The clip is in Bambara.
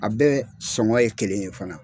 A bɛ sɔngɔ ye kelen ye fana.